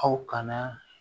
Aw kana